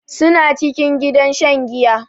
Su na cikin gidan shan giya.